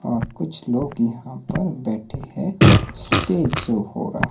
और कुछ लोग यहां पर बैठे हैं। स्टेज शो हो रहा--